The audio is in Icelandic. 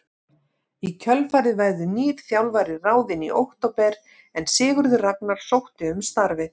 Í kjölfarið verður nýr þjálfari ráðinn í október en Sigurður Ragnar sótti um starfið.